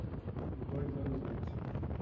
Uns dois anos antes.